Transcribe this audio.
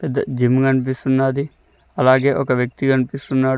Gym కనిపిస్తున్నాది అలాగే ఒక వ్యక్తి కనిపిస్తున్నాడు.